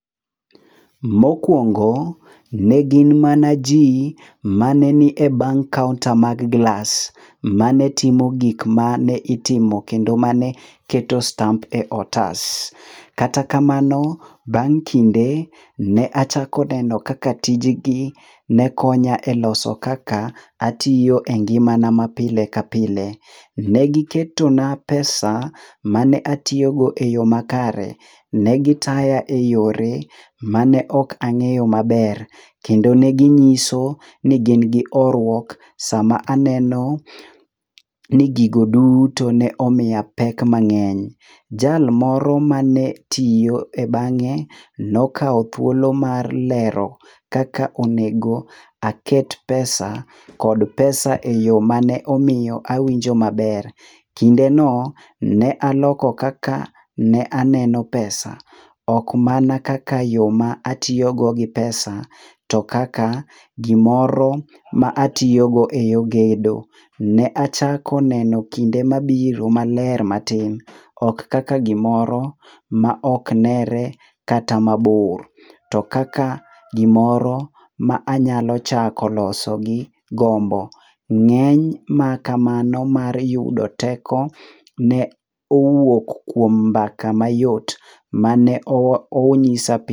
Mokwongo ne gin mana ji manenie e bank counter mag glas ma ne timo gik ma ne itimo kendo mane keto stamp e otas. Kata kamano, bang' kinde, ne achako neno kaka tijgi ne konya e loso kaka atiyo e ngimana ma pile ka pile. Ne giketona pesa mane atiyogo e yo makare. Ne gitaya e yore ma ne ok ang'eyo maber. kendo ne ging'iso ni gin gi horuok sama aneno ni gigo duto ne omiya pek mang'eny. Jal moro ma ne tiyo e bang'e nokawo thuolo mar lero kaka onego aket pesa kod pesa e yo mane omiyo awinjo maber. Kindeno, ne aloko kaka ne aneno pesa. Ok mana kaka yo ma atiyogo gi pesa, to kaka gimoro ma atiyogo e yo gedo. Ne achako neno kinde mabiro maler matin. Ok kaka gimoro maok nere kata mabor. To kaka gimoro ma anyalo chako loso gi gombo. Ng'eny makamano mar yudo teko ne owuok kuom mbaka mayot mane onyisa.